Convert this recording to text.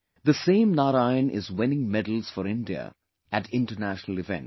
The same Narayan is winning medals for India at International events